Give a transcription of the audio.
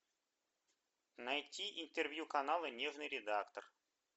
найти интервью канала нежный редактор